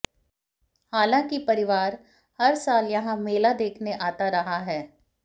हालांकि परिवार हर साल यहां मेला देखने आता रहा है